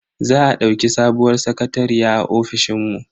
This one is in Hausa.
Za a dauki sabuwar sakatariya a ofishin mu.